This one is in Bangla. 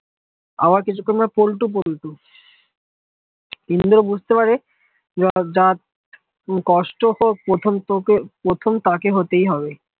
আবার কিছুক্ষণে পল্টু পল্টু, ইন্দ্র বুঝতে পারে কষ্ট হোক প্রথম তোকে প্রথম তাকে হতেই হবে